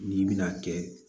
N'i bɛna kɛ